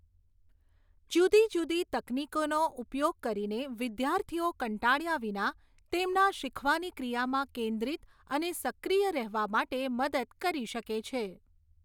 જુદી જુદી તકનીકીનો ઉપયોગ કરીને વિદ્યાર્થીઓ કંટાળ્યા વિના તેમના શીખવાની ક્રિયામાં કેન્દ્રિત અને સક્રિય રહેવા માટે મદદ કરી શકે છે.